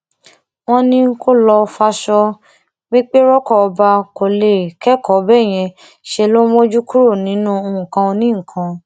wọn ní kó lọo faṣọ pépé roko ọba kó lè kẹkọọ béèyàn ṣe ń mójú kúrò nínú nǹkan onínǹkan